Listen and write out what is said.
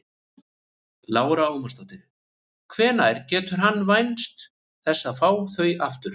Lára Ómarsdóttir: Hvenær getur hann vænst þess að fá þau aftur?